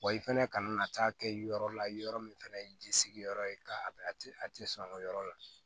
Wa i fɛnɛ kana na taa kɛ yɔrɔ la yɔrɔ min fɛnɛ ye ji sigi yɔrɔ ye ka a ti sɔn o yɔrɔ la